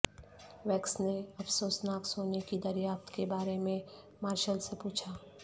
ویکس نے افسوسناک سونے کی دریافت کے بارے میں مارشل سے پوچھا